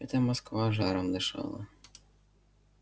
это москва жаром дышала